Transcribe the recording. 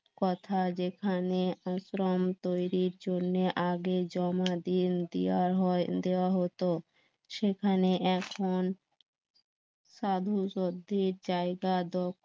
কথা যেখানে আশ্রম তৈরির জন্যে আগে জমা দিন দিয়া দেওয়া হতো সেখানে এখন সাধু জায়গা দখল